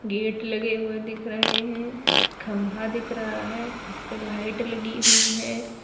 Gate लगे हुए दिख रहे हैं एक खंभा दिख रहा है उसपे लाइट लगी हुई है।